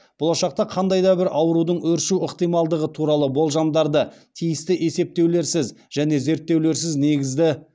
болашақта қандай да бір аурудың өршу ықтималдығы туралы болжамдарды тиісті есептеулерсіз және зерттеулерсіз негізді